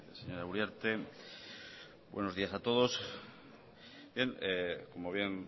señora uriarte buenos días a todos bien como bien